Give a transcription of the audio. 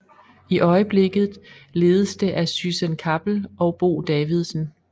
I øjeblikket ledes det af Syssen Kappel og Bo Davidsen